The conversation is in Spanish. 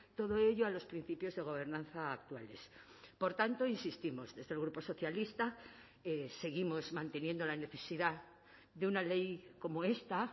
todo ello a los principios de gobernanza actuales por tanto insistimos desde el grupo socialista seguimos manteniendo la necesidad de una ley como esta